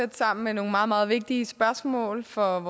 tæt sammen med nogle meget meget vigtige spørgsmål for